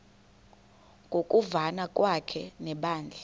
ngokuvana kwakhe nebandla